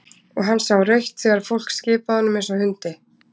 Og hann sá rautt þegar fólk skipaði honum eins og hundi.